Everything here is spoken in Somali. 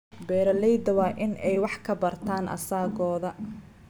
Beeraleydu waa inay wax ka bartaan asaagooda.